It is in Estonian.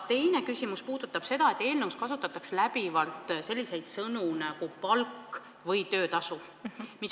Teine küsimus puudutab seda, et eelnõus kasutatakse läbivalt sõnu "palk" ja "töötasu".